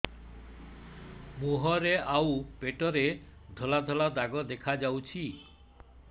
ମୁହଁରେ ଆଉ ପେଟରେ ଧଳା ଧଳା ଦାଗ ଦେଖାଯାଉଛି